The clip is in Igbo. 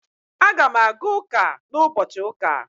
Aga m aga ụka na ụbọchị ụka